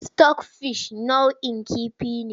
Sitok fish nau'in kifi ne.